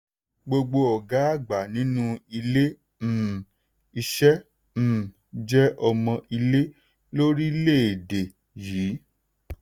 gbogbo ọgá àgbà nínú ilé um iṣẹ́ um jẹ́ ọmọ ilé lórílẹ̀-èdè yìí.